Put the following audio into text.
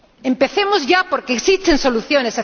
qué? Empecemos ya, porque existen soluciones.